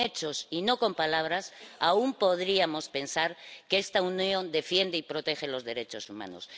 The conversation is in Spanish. Con hechos y no con palabras, aún podríamos pensar que esta Unión defiende y protege los derechos humanos